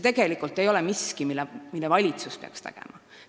See ei ole tegelikult miski, mida peaks tegema valitsus.